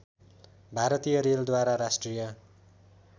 भारतीय रेलद्वारा राष्ट्रिय